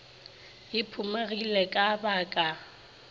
e phumegile ka ba ka